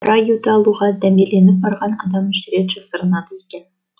қара аюды алуға дәмеленіп барған адам үш рет жасырынады екен